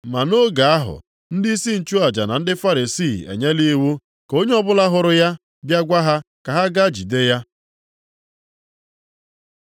Ma nʼoge ahụ, ndịisi nchụaja na ndị Farisii enyela iwu ka onye ọbụla hụrụ ya bịa gwa ha ka ha gaa jide ya.